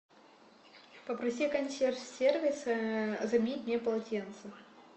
попроси консьерж сервис заменить мне полотенце